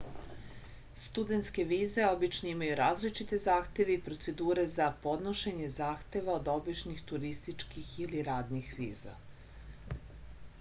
studentske vize obično imaju različite zahteve i procedure za podnošenje zahteva od običnih turističkih ili radnih viza